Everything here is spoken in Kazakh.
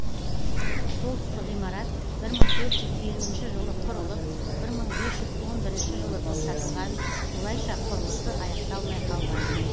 солтүстік ғимарат бір мың төрт жүз елуінші жылы құрылып бір мың бес жүз он бірінші жылы тоқтатылған солайша құрылысы аяқталмай қалған